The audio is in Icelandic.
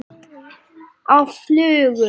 Á flugu?